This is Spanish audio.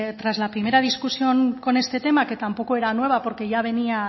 tras la primera discusión con este tema que tampoco era nueva porque ya venía